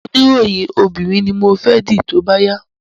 Oní ìròyìn obìnrin ni mo fẹ́ dì tóbá yá